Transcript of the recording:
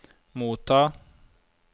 motta